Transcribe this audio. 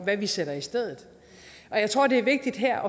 hvad vi sætter i stedet og jeg tror det er vigtigt her